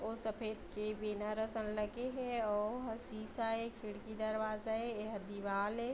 अउ सफ़ेद के बैनर असन लगे हे अउ ओहा शीशा ए खिड़की दरवाज़ा हे एहा दीवार ए।